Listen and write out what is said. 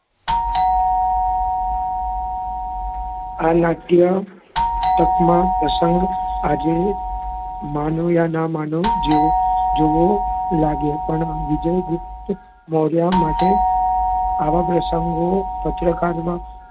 આ નાટ્ય તકમાં પ્રસંગ આજે માનો યા ન માનો જેવું લાગે પણ વિજય ગુપ્ત મોર્ય માટે આવા પ્રસંગો પત્રકારમાં,